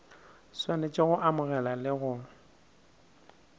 swanetše go amogela le go